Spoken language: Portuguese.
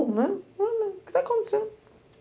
né. O que está acontecendo?